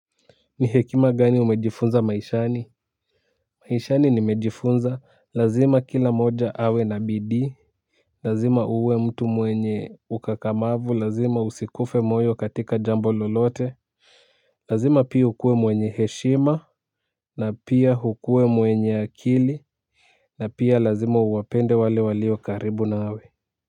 Ni hekima gani umejifunza maishani? Maishani nimejifunza lazima kila moja awe na bidii, lazima uwe mtu mwenye ukakamavu, lazima usikufe moyo katika jambo lolote. Lazima pia ukuwe mwenye heshima na pia ukuwe mwenye akili. Na pia lazima uwapende wale walio karibu nawe.